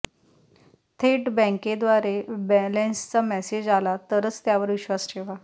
थेट बँकेद्वारे बॅलन्सचा मेसेज आला तरच त्यावर विश्वास ठेवा